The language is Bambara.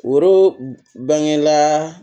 Woro bangela